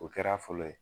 O kɛra fɔlɔ ye